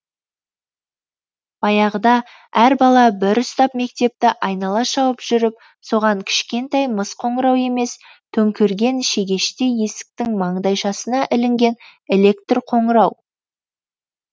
баяғыда әр бала бір ұстап мектепті айнала шауып жүріп соған кішкентай мыс қоңырау емес төңкерген шегештей есіктің маңдайшасына ілінген электр қоңырау